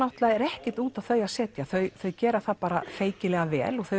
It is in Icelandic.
er ekkert út á þau að setja þau þau gera það feykilega vel þau